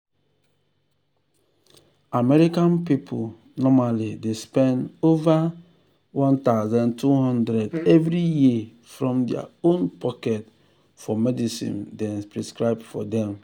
american people normally dey spend over one thousand two hundred dollars every year from their own pocket for medicine dem prescribe for dem.